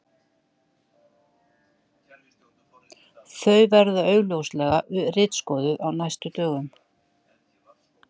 Þau verða augljóslega ritskoðuð á næstu dögum.